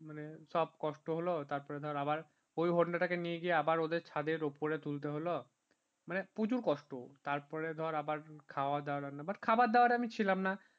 মানে সব কষ্ট হলো তারপর ধরাবার ওই honda টাকে নিয়ে গিয়ে আবার ওদের ছাদের উপরে তুলতে হলো মানে প্রচুর কষ্ট তারপরে ধর আবার খাওয়া-দাওয়া অন্য বাট খাবার দাবারে আমি ছিলাম না